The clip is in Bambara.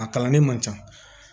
A kalan ne man ca